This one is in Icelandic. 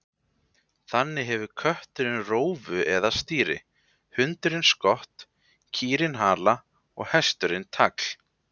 Þannig hefur kötturinn rófu eða stýri, hundurinn skott, kýrin hala og hesturinn tagl.